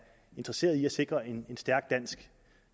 interesseret i at sikre en stærk dansk